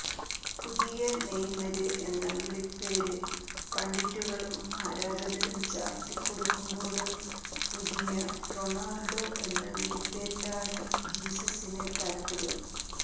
പുതിയ നെയ്മര് എന്ന വിളിപ്പേര്് പണ്ഡിറ്റുകളും ആരാധകരും ചാര്ത്തി കൊടുക്കുമ്പോള് പുതിയ റൊണാള്ഡോ എന്ന വിളിപ്പേരിലാണ് ജീസസിന് താല്പ്പര്യം